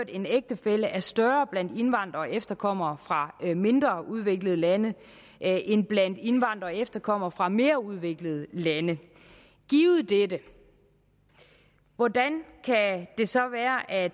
en ægtefælle er større blandt indvandrere og efterkommere fra mindre udviklede lande end blandt indvandrere og efterkommere fra mere udviklede lande givet dette hvordan kan det så være at